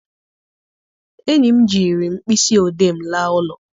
Enyi m jiri mkpịsị odee m laa ụlọ.